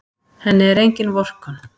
Henni er engin vorkunn.